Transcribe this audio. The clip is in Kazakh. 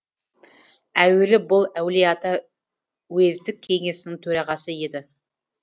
әуелі бұл әулиеата уездік кеңесінің төрағасы еді